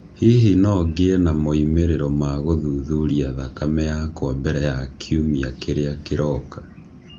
Hihi no ngĩe na moimĩrĩro ma gũthuthuria thakame yakwa mbere ya kiumia kĩrĩa kĩroka?